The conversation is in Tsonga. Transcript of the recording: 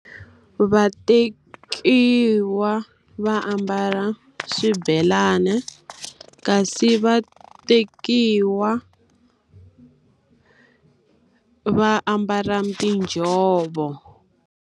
Vatekiwa va ambala swibelani, kasi vatekiwa va ambala tinjhovo